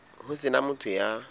ho se na motho ya